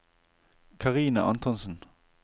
Karine Antonsen